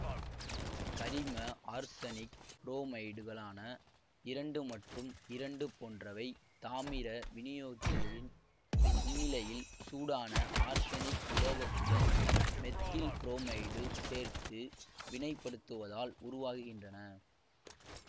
கரிம ஆர்சனிக் புரோமைடுகளான இரண்டு மற்றும் இரண்டு போன்றவை தாமிர வினையூக்கியின் முன்னிலையில் சூடான ஆர்சனிக் உலோகத்துடன் மெத்தில் புரோமைடு சேர்த்து வினைப்படுத்துவதால் உருவாகின்றன